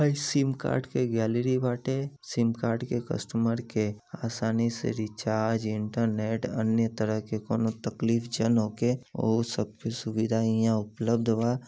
हइ SIM card के gallery बाटे सिम कार्ड के कस्टमर के आसानी से रिचार्ज इंटरनेट अन्य तरह के कोनों तकलीफ जन होखे ओहु सब के सुविधा इहाँ उपलब्ध वा।